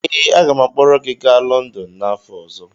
ee, aga m akpọrọ gị gaa London n’afọ ọzọ